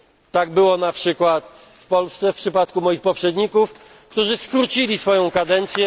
Tak było na przykład w Polsce w przypadku moich poprzedników, którzy skrócili swoją kadencję.